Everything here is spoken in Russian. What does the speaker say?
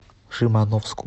шимановску